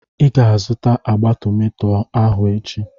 I ga-azụta agba tomato ahụ echi.